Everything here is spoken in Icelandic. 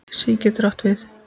SÍ getur átt við